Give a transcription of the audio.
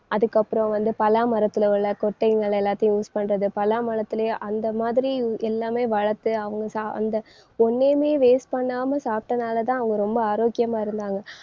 அதுக்கப்புறம் வந்து பலா மரத்துல உள்ள கொட்டைங்கள் எல்லாத்தையும் use பண்றது பலா மரத்துலயும் அந்த மாதிரி எல்லாமே வளர்த்து அவங்க சா~ அந்த ஒன்னையுமே waste பண்ணாம சாப்பிட்டனாலதான் அவங்க ரொம்ப ஆரோக்கியமா இருந்தாங்க.